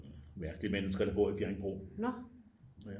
Det var nogle mærkelige mennesker der bor i Bjerringbro